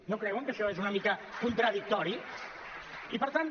no creuen que això és una mica contradictori i per tant